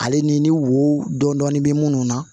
Ale ni wo dɔɔnin bɛ minnu na